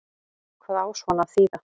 Hvað á svona að þýða